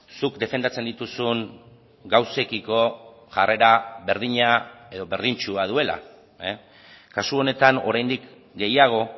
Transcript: zuk defendatzen dituzun gauzekiko jarrera berdina edo berdintsua duela kasu honetan oraindik gehiago